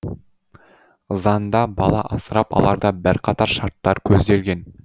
заңда бала асырап аларда бірқатар шарттар көзделген